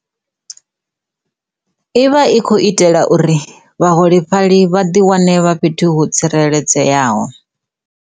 I vha i khou itela uri vhaholefhali vha ḓi wane vha fhethu ho tsireledzeaho.